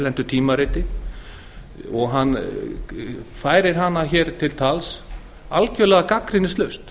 erlendu tímariti og hún vekur hér máls á henni algjörlega gagnrýnislaust